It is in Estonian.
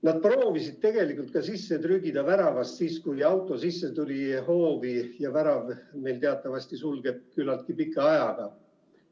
Nad proovisid tegelikult ka väravast sisse trügida, kui auto sõitis hoovi sisse, ja värav meil teatavasti sulgub küllaltki pikka aega.